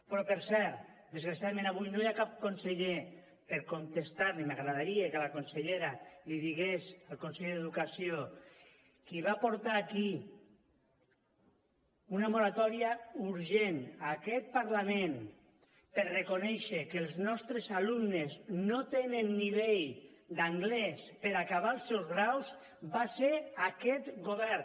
però per cert desgraciadament avui no hi ha cap conseller per contestar i m’agradaria que la consellera l’hi digués al conseller d’educació qui va portar aquí una moratòria urgent a aquest parlament per reconèixer que els nostres alumnes no tenen nivell d’anglès per acabar els seus graus va ser aquest govern